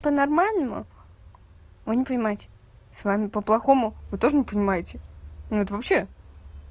по-нормальному вы не понимаете с вами по-плохому вы тоже не понимаете вот вообще